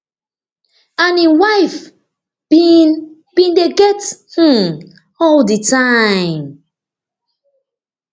and im wife bin bin dey get um all di time